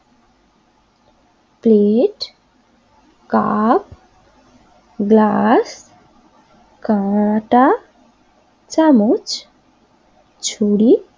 plate cup glass কাটা চামচ ছুরি